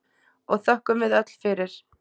og þökkum við öll fyrir.